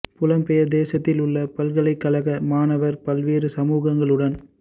புலம் பெயர் தேசதில் உள்ள பல்கலைக் கழக மாணவர் பல்வேறு சமூகங்களுடன்